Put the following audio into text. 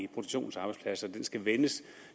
produktionsarbejdspladser den skal vendes